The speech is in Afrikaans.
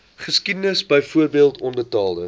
geskiedenis byvoorbeeld onbetaalde